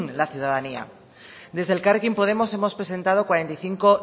la ciudadanía desde elkarrekin podemos hemos presentado cuarenta y cinco